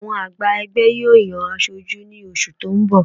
Àwọn àgbà ẹgbẹ́ yóò yan aṣojú ní oṣù tó ń bọ̀